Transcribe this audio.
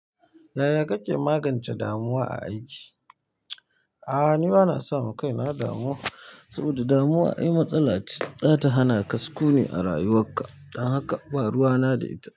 Yaya kake magance damuwa a aiki? A'a, ni bana sama kaina damuwa saboda damuwa ai matsala ce, za ta hana ka sukuni a rayuwarka. Don haka ba ruwa na da ita.